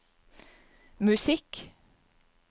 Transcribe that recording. musikk